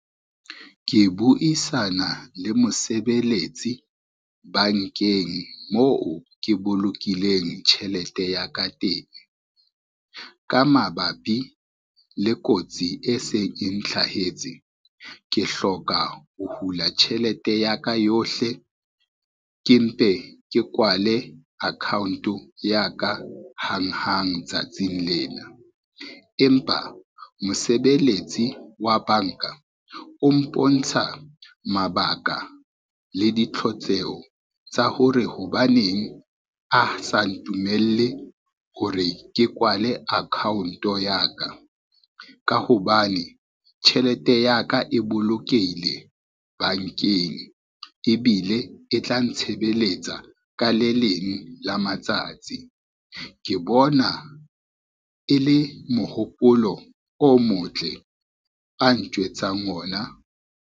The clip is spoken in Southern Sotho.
Ke buisana le mosebeletsi bankeng moo ke bolokileng tjhelete ya ka teng. Ka mabapi le kotsi e seng e ntlhahetse ke hloka ho hula tjhelete ya ka yohle, ke mpe ke kwale account ya ka hanghang tsatsing lena. Empa mosebeletsi wa banka o mpontsha mabaka le ditlhotseho tsa hore hobaneng a sa ntumelle hore ke kwale account-o ya ka, ka hobane tjhelete ya ka e bolokehile bankeng, ebile e tla ntshebeletsa ka le leng la matsatsi. Ke bona e le mohopolo o motle a ntjwetsang ona.